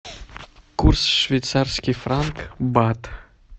курс швейцарский франк бат